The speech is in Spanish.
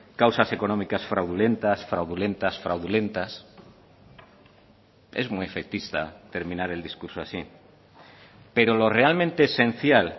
causas económicas fraudulentas fraudulentas fraudulentas es muy efectista terminar el discurso así pero lo realmente esencial